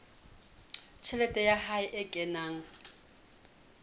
tjhelete ya hae e kenang